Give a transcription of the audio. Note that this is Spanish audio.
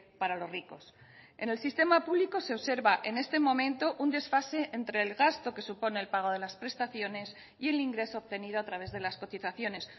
para los ricos en el sistema público se observa en este momento un desfase entre el gasto que supone el pago de las prestaciones y el ingreso obtenido a través de las cotizaciones